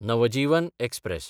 Navjivan express